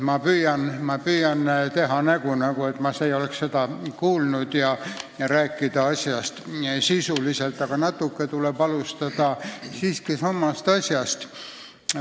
Ma püüan teha nägu, nagu ma ei oleks seda kuulnud, ja rääkida teemast sisuliselt, aga alustada tuleb siiski samast asjast.